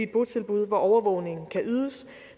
botilbud hvor overvågningen kan ydes